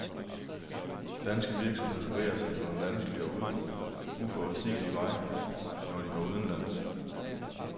Danske virksomheder bevæger sig på en vanskelig og uforudsigelig vej, når de går udenlands.